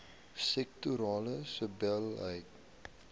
sektorale sebbeleid